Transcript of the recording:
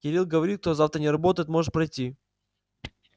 кирилл говорит кто завтра не работает может пройти